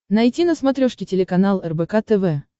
найти на смотрешке телеканал рбк тв